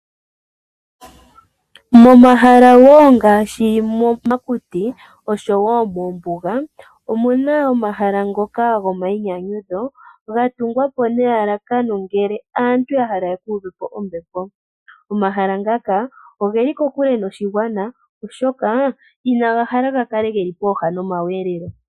Momahala ngaashi momakuti oshowo moombuga omu na omahala ngoka gomayinyanyudho ga tungwa po nelalakano ngele aantu ya hala ya ka uve po ombepo. Omahala ngaka oge li kokule noshigwana, oshoka inaga hala ga kale ge li pooha nomakudhilo.